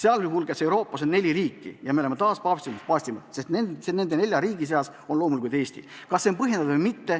Euroopas on neli sellist riiki ja me oleme taas paavstist paavstim – nende nelja riigi seas on ka Eesti.